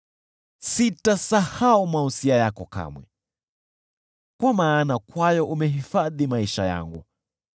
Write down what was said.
Sitasahau mausia yako kamwe, kwa maana kwayo umehifadhi maisha yangu.